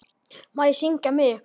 Má ég syngja með ykkur?